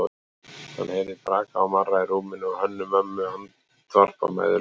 Hann heyrði braka og marra í rúminu og Hönnu-Mömmu andvarpa mæðulega.